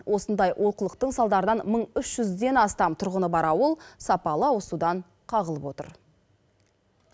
осындай олқылықтың салдарынан мың үш жүзден астам тұрғыны бар ауыл сапалы ауызсудан қағылып отыр